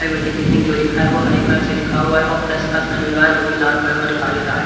Ayurvedic clinic जो लिखा है वो हरे कलर से लिखा हुआ है और प्लस का साइन लगा है जो कि लाल कलर का दिखाई दे रहा है।